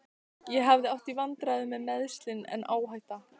Ég hef átt í vandræðum með meiðsli, en áhætta?